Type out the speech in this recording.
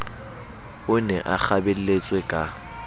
o ne a kgabelletswe ka